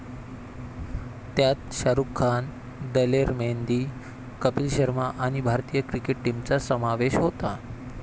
त्यात शाहरुख खान, दलेर मेहंदी, कपिल शर्मा आणि भारतीय क्रिकेट टीमचा समावेश होता.